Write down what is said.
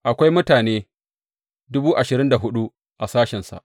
Akwai mutane dubu ashirin da hudu a sashensa.